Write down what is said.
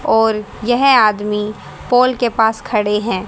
और यह आदमी पोल के पास खड़े हैं।